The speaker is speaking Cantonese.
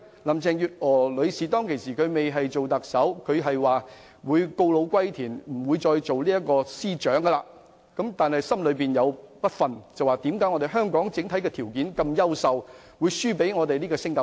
林鄭月娥女士仍未擔任特首時，曾說自己會告老歸田，不再擔任司長；但後來心有不甘，認為以香港的整體優秀條件，不應敗給新加坡。